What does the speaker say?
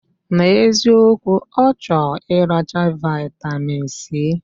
Na eziokwu, ochor iracha vitamin C.